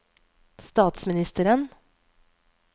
statsministeren